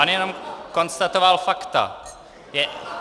On jenom konstatoval fakta.